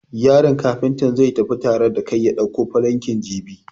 Yaron Kafuntan zai tafi tare da kai ya dauko falankin jibi.